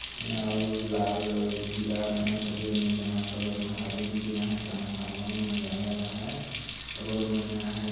आउर लाल मने पिला मने हरियर में ह जमा कलर मन में रेंग दिन आहाय ट्रांसफोर्मर मन लागल आहाय रोड मन आहाय |